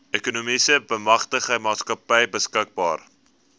ekonomiese bemagtigingsmaatskappy beskikbaar